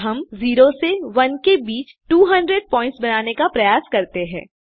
अब हम 0 से 1 के बीच 200 पॉइंट्स बनाने का प्रयास करते हैं